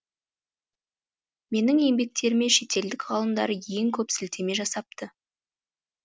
менің еңбектеріме шетелдік ғалымдар ең көп сілтеме жасапты